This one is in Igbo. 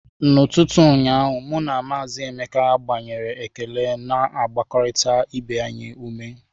N'ụtụtụ ụnyaahụ, mụ na Maazị Emeka gbanwere ekele na-agbarịta ibe anyị ume.